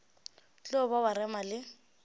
tlo ba wa rema le